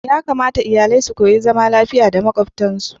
Ya kamata iyalai su koyi zama lafiya da makwabtansu.